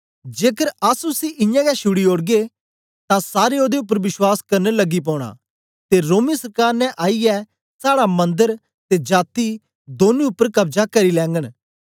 जेकर अस उसी इयां गै छुड़ी ओड़गे तां सारें ओदे उपर बश्वास करन लगी पौना ते रोमी सरकार ने आईयै साड़ा मन्दर ते जाती दौनी उपर कब्जा करी लैगन